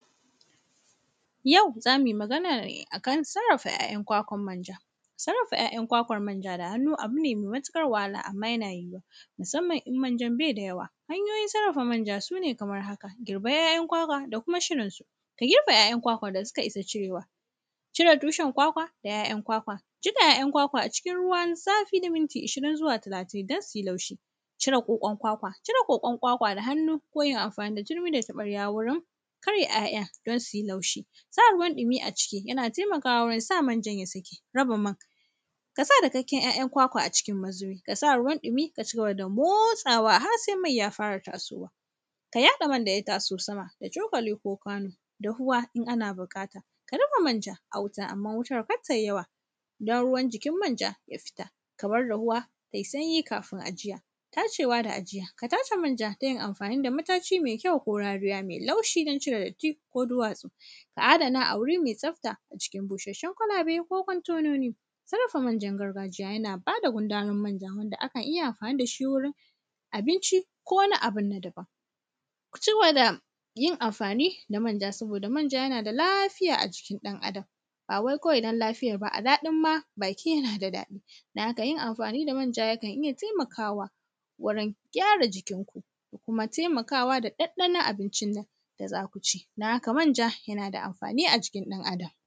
Yau za mi magana a kan sarrafa ‘ya’yan kwakwan manja. Sarrafa ‘ya’yan kwakwan manja da hannu, abu ne me matiƙar wahala, amma yana yiwuwa, musamman in manjan be da yawa. Hanyoyin sarrafa manja su ne kamar haka. Girbar ‘ya’yan kwakwa da kuma shirinsu, girbe ‘ya’yan kwakwa da sika isa cirew, cire tushen kwakwa da ‘ya’yan kwakwa. Jiƙa ‘ya’yan kwakwa a cikin ruwan zafi na minti shirin zuwa talatin dan si laushi. Cire ƙoƙon kwakwa, cire ƙoƙon ƙwaƙwa da hannu, ko yin amfani da tirmi da taƃarya wurin karya ‘ya’yan dan si laushi. Sa ruwan ɗimi a ciki, yana temakawa wurin sa manjan ya saki. Raba man, ka sa dakakken ‘ya’yan kwakwa a cikin mazibi, ka sa ruwan ɗimi, ka ci gaba da motsawa har se mai ya fara tasowa. Ka yaɗe man da ya taso sama da cokali ko kwano. Dahuwa in ana biƙata, ka dafa manjan a wuta, amma wutar kar tai yawa, don ruwan jikin manja ya fita, ka bar dahuwa tai sanyi kafin ajiya. Tacewa da ajiya, ka tace manja ta yin amfani da mataci me kyau ko rariya me laushi don cire datti ko duwatsu. Ka adana a wuri me tsafta a cikin bushasshun kalabe ko kwantenoni. Sarrafa manjan gargajiya yana ba da gudarin manja nan da akan iya amfani da shi wurin abinci ko wani abu na daban. Ka ci gaba da yin amfani da manja, saboda manja yana da lafiya a jikin ɗan Adam, ba wai kawai dan lafiyar ba, a daɗin ma baki, yana da daɗi. Don haka, yin amfani da manja yakan iya temakawa wurin gyara jikinku da kuma temakawa da ɗanɗanon abincina da za ku ci, don haka manja, yana da amfani a jikin ɗan Adam.